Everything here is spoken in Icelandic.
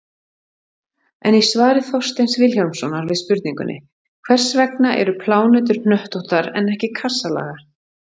En í svari Þorsteins Vilhjálmssonar við spurningunni: Hvers vegna eru plánetur hnöttóttar en ekki kassalaga?